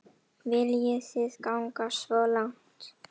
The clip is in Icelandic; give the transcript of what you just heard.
Viljið þið ganga svo langt?